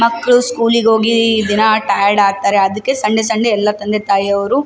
ಮಕ್ಳೂ ಸ್ಕೂಲಿಗ್ ಹೋಗಿ ದಿನ ಟೈಯರ್ಡ್ ಆಗ್ತಾರೆ ಅದಕ್ಕೆ ಸಂಡೇ ಸಂಡೇ ಎಲ್ಲಾ ತಂದೆ ತಾಯ್ಯವ್ರು --